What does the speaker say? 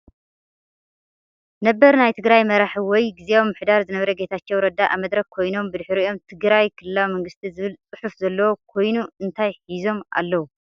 ናበር ናይ ትግራይ መራሒ ወይ ግዚያዊ ምምሕዳር ዝነበረ ጌታቸው ረዳ ኣብ መድረክ ኮይኖም ብድሕሪኦም ትግራይ ክልላዊ መንግስቲ ዝብል ፅሑፍ ዘለዎ ኮይኑ እንታይ ሒዞም ኣለዉ?